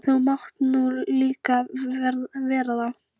Þú mátt nú líka vera það.